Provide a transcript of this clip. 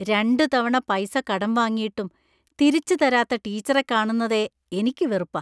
രണ്ടു തവണ പൈസ കടം വാങ്ങിയിട്ടും തിരിച്ച് തരാത്ത ടീച്ചറെ കാണുന്നതേ എനിക്ക് വെറുപ്പാ.